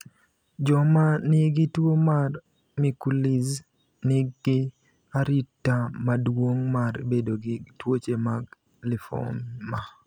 Joma nigi tuwo mar Mikulicz nigi arita maduong’ mar bedo gi tuoche mag limfoma.